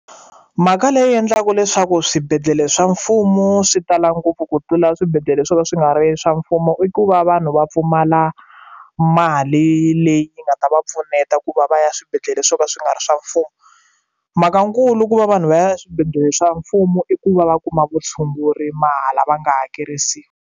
Mhaka leyi endlaka leswaku swibedhlele swa mfumo swi tala ngopfu ku tlula swibedhlele swo ka swi nga ri swa mfumo i ku va vanhu va pfumala mali leyi yi nga ta va pfuneta ku va va ya swibedhlele swo ka swi nga ri swa mfumo mhaka nkulu i ku va vanhu va ya eswibedhlele swa mfumo i ku va va kuma vutshunguri mahala va nga hakerisiwi.